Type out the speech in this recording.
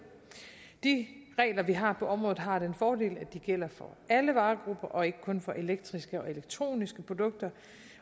de regler vi har på området har den fordel at de gælder for alle varegrupper og ikke kun for elektriske og elektroniske produkter